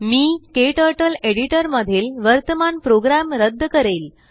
मी KTurtle editor मधील वर्तमान program रद्द करेल